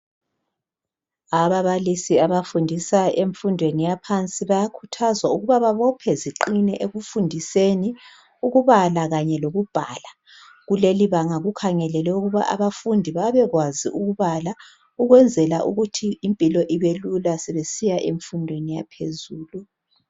ababalisi abafundisa emfundweni yaphansi bayakhuthazwa ukuba ababophe ziqine ekufundiseni ukubala kanye lokubhala kulelibanga kukhangelelwe ukuba abafundi babekwazi ukubala ukwenzela ukuthi impilo ibe lula sebesiya emfundweni yaphezulu